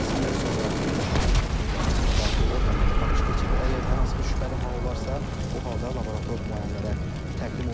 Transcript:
Kəsimdən sonra bir daha heyvanın daxili orqanlarına baxış keçirilir, əgər hər hansı bir şübhəli hal olarsa, bu halda laborator müayinələrə təqdim olunur.